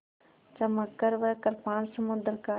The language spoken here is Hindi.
चमककर वह कृपाण समुद्र का